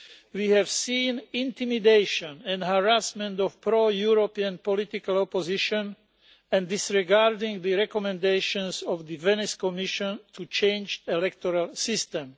We have seen the intimidation and harassment of pro-European political opposition and the disregarding of the recommendations of the Venice Commission to change the electoral system.